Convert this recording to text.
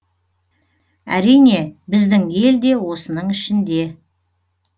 әрине біздің ел де осының ішінде